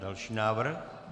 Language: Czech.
Další návrh?